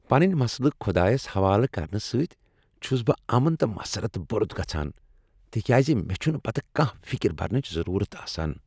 پنٕنۍ مسلہٕ خۄدایس حوالہٕ کرنہٕ سۭتۍ چُھس بہٕ امن تہٕ مسرت بوٚرُت گژھان تکیاز مےٚ چُھنہٕ پتہٕ کانٛہہ فکر برنٕچ ضروٗرت آسان۔